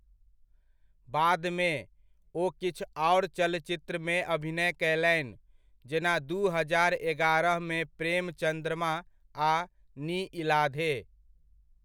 बादमे, ओ किछु आओर चलचित्रमे अभिनय कयलनि, जेना, दू हजार एगारहमे 'प्रेम चँद्रमा' आ 'नी इलाधे'।